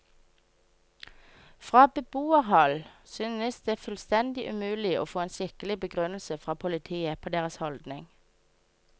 Fra beboerhold synes det fullstendig umulig å få en skikkelig begrunnelse fra politiet på deres holdning.